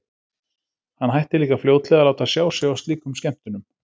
Hann hætti líka fljótlega að láta sjá sig á slíkum skemmtunum.